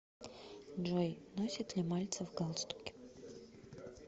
джой носит ли мальцев галстуки